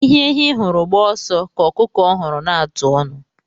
Ihe ehi hụrụ gbaa ọsọ ka ọkụkọ hụrụ na-atụ ọnụ.